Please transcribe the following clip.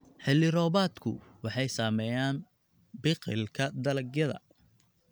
Xilli-roobaadku waxay saameeyaan biqilka dalagyada.